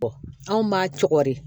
anw b'a co de